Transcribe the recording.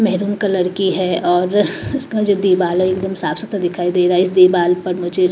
maroon colour की है और इसका जो दीवार है एकदम साफ सुथरा दिखाई दे रहा है इस दीवाल पर मुझे--